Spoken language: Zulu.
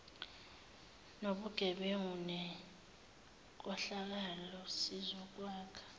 nobugebengu nenkohlakalo sizokwakha